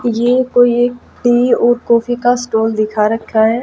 ये कोई कॉफी का स्टोल दिखा रखा है।